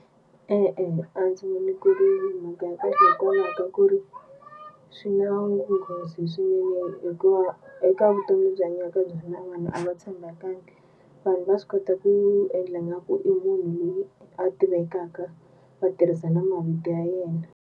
E-e a ndzi voni ku ri mhaka ya kahle hikwalaho ka ku ri swi na nghozi swinene hikuva eka vutomi lebyi hi hanyaka ka byona vanhu a va tshembakangi. Vanhu va swi kota ku endla nga ku i munhu loyi a tivekaka va tirhisa na mavito ya yena.